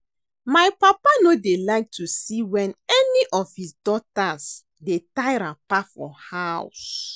My papa no dey like to see wen any of his daughters dey tie wrapper for house